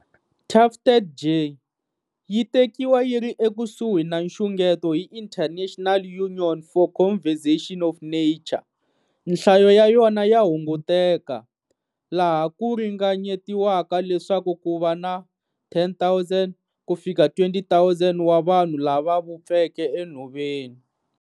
Tufted jay yi tekiwa yiri ekusuhi na nxungeto hi International Union for Conservation of Nature. Nhlayo ya yona ya hunguteka, laha ku ringanyetiwaka leswaku kuva na 10,000-20,000 wa vanhu lava vupfeke e nhoveni.